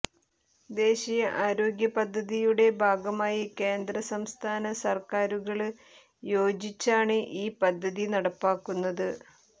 ദേശീയ ആരോഗ്യപദ്ധതിയുടെ ഭാഗമായി കേന്ദ്രസംസ്ഥാന സര്ക്കാരുകള് യോജിച്ചാണ് ഈ പദ്ധതി നടപ്പാക്കുന്നത്